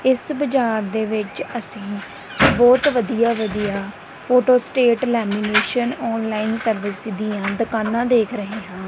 ਇਸ ਬਾਜ਼ਾਰ ਦੇ ਵਿੱਚ ਅਸੀਂ ਬਹੁਤ ਵਧੀਆ ਵਧੀਆ photostat lamination online service ਦੀਆਂ ਦੁਕਾਨਾਂ ਦੇਖ ਰਹੇ ਹਾਂ।